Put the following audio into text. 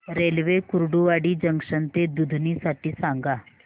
railway Kurduwadi junction ते दुधनी साठी सांगा